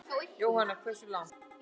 Jóhanna: Hversu langt?